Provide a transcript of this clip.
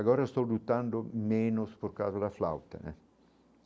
Agora eu estou lutando menos por causa da flauta, né?